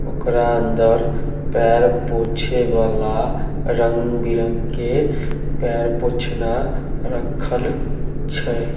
ओकरा अंदर पैर पोछे वला रंग-बिरंग के पैर पोछना रखल छै।